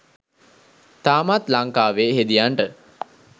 තාමත් ලංකාවේ හෙදියන්ට